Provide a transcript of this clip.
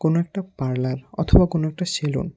কোনো একটা পার্লার অথবা কোন একটা সেলুন।